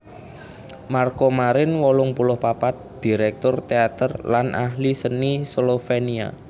Marko Marin wolung puluh papat dirèktur téater lan ahli seni Slovénia